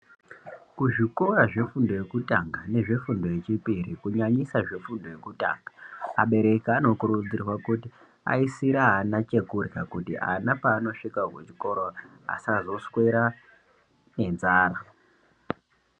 Kuzvikora zvefundo yekutanga nezvefundo yechipiri kunyanyisa zvefundo yekutanga abereki anokurudzirwa kuti aisire ana chekurya kuti ana paanosvik kuzvikora asazoswera nenzara.